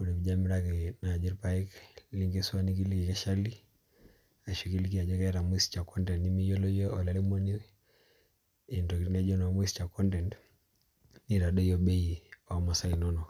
ore piijo amiraki naji ilapek nikiliki eshali ashu kiliki ajo keeta moisture content nimiyiolo iyie olairemoni entoki naijo naa ina nitadoiyo bei oomasaa inono